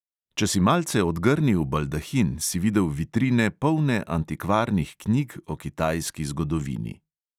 Če si malce odgrnil baldahin, si videl vitrine, polne antikvarnih knjig o kitajski zgodovini.